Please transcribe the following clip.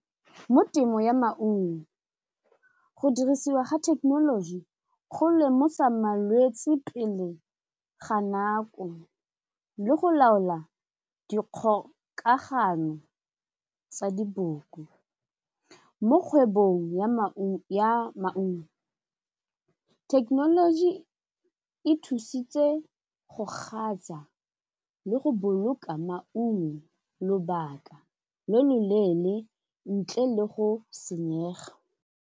Mo temo ya maungo, go dirisiwa ga thekenoloji go lemosa malwetsi pele ga nako le go laola dikgokagano tsa diboko. Mo kgwebong ya maungo, technology e thusitse go gasa le go boloka maungo lobaka lo lo leele ntle le go senyega.